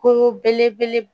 Ko belebele